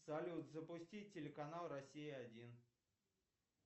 салют запусти телеканал россия один